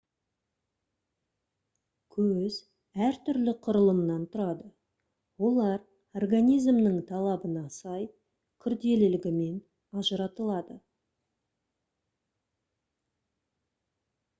көз әртүрлі құрылымнан тұрады олар организмнің талабына сай күрделілігімен ажыратылады